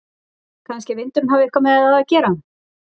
Kannski að vindurinn hafi eitthvað með það að gera?